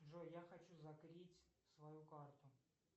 джой я хочу закрыть свою карту